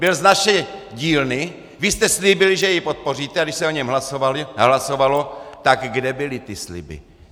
Byl z naší dílny, vy jste slíbili, že jej podpoříte, a když se o něm hlasovalo, tak kde byly ty sliby?